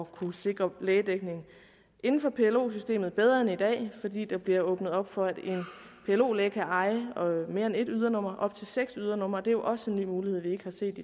kunne sikre lægedækning inden for plo systemet bedre end i dag fordi der bliver åbnet op for at en plo læge kan eje mere end et ydernummer op til seks ydernumre det er jo også en ny mulighed vi ikke har set